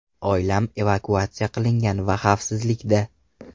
Oilam evakuatsiya qilingan va xavfsizlikda.